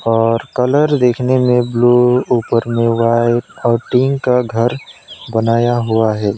और कलर देखने में ब्लू ऊपर में व्हाइट और टीन का घर बनाया हुआ है।